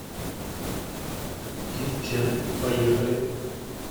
кит чен поехали